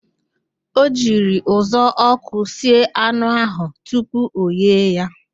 O jiri uzuọkụ sie anụ ahụ tupu ọghee ya